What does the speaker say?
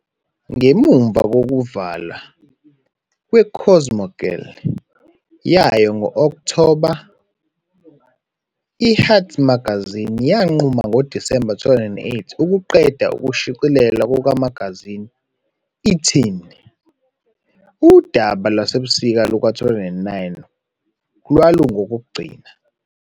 Ngemuva kokuvalwa "kweCosmogirl" yayo ngo-Okthoba, i-Hearst Magazines yanquma ngoDisemba 2008 ukuqeda ukushicilelwa kukamagazini "iTeen."Udaba lwasebusika luka-2009 lwalungolokugcina.